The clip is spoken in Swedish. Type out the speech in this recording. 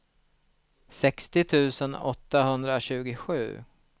sextio tusen åttahundratjugosju